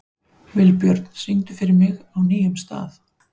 Vilbjörn, syngdu fyrir mig „Á nýjum stað“.